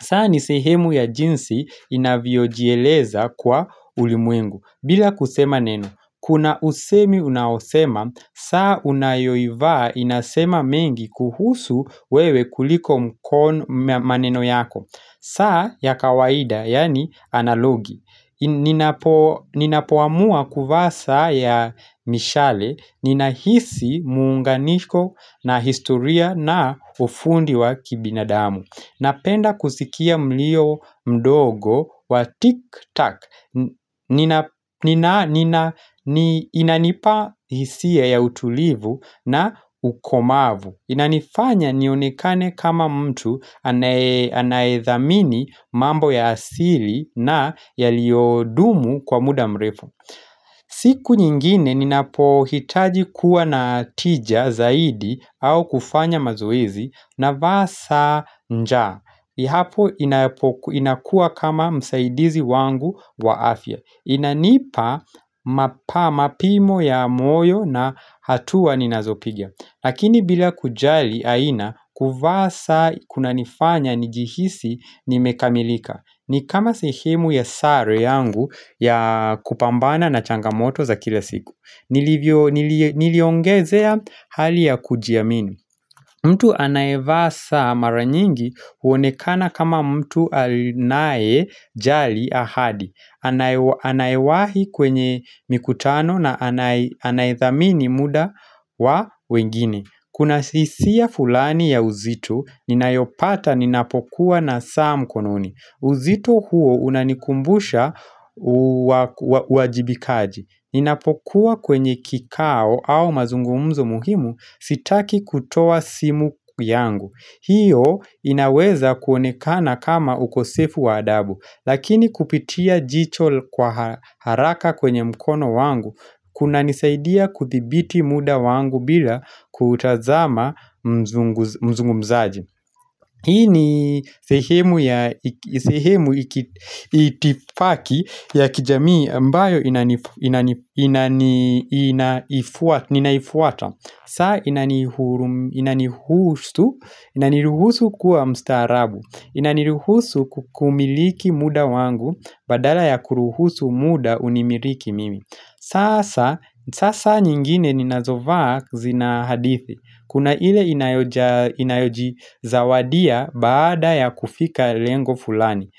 saa ni sehemu ya jinsi ninavyojieleza kwa ulimwengu bila kusema neno Kuna usemi unaosema, saa unayoivaa inasema mengi kuhusu wewe kuliko mkon maneno yako saa ya kawaida, yaani analogi ninapo Ninapoamua kuvaa saa ya mishale, ninahisi muunganisho na historia na ufundi wa kibinadamu Napenda kusikia mlio mdogo wa tik-tak nina ni inanipa hisia ya utulivu na ukomavu Inanifanya nionekane kama mtu anaye anaye dhamini mambo ya asili na yaliyodumu kwa muda mrefu siku nyingine ninapohitaji kuwa na tija zaidi au kufanya mazoezi na vaa saa nja Ihapo inapoku inakuwa kama msaidizi wangu wa afya Inanipa mapa mapimo ya moyo na hatua ninazopiga Lakini bila kujali aina kuvaa saa kuna nifanya nijihisi nimekamilika ni kama sehemu ya sare yangu ya kupambana na changamoto za kila siku Niliongezea hali ya kujiamini mtu anayevaa saa mara nyingi huonekana kama mtu anaye jali ahadi. Anayewahi kwenye mikutano na anayedhamini muda wa wengine. Kuna sisia fulani ya uzito, ninayopata ninapokuwa na saa mkononi uzito huo unanikumbusha uajibikaji Ninapokuwa kwenye kikao au mazungumzo muhimu sitaki kutoa simu yangu hiyo inaweza kuonekana kama ukosefu wa adabu Lakini kupitia jicho kwa haraka kwenye mkono wangu kunanisaidia kuthibiti muda wangu bila kutazama mzungu mzungumzaji Hii ni sehemu ya sehemu itifaki ya kijamii ambayo inaifuata ninaifuata saa inanihusu, inaniruhusu kuwa mstaarabu inaniruhusu ku kumiliki muda wangu badala ya kuruhusu muda unimiriki mimi saa sa, sasa nyingine ninazovaa zina hadithi Kuna ile inayo inayojizawadia baada ya kufika lengo fulani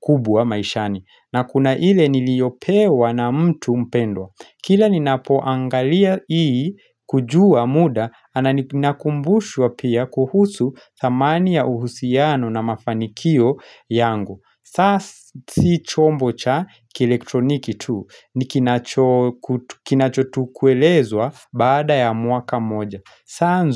kubwa maishani na kuna ile niliyopewa na mtu mpendwa Kila ninapoangalia hii kujua muda ana ninakumbushwa pia kuhusu thamani ya uhusiano na mafanikio yangu saa si chombo cha kielektroniki tu nikinacho kinacho tu kuelezwa baada ya mwaka moja saa.